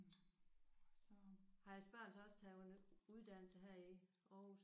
Har jeres børn så også taget uddannelse her i Aarhus?